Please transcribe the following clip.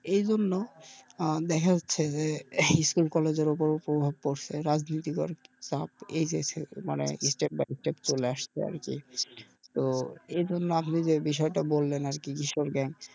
এইজন্য আহ দেখা যাচ্ছে যে ইস্কুল কলেজের ওপর প্রভাব পড়ছে রাজনীতি বা চাপ এই দেশে মানে চলে আসছে আরকি এজন্ন আপনি যে বিষয়টা বললেন আরকি কিশোর gang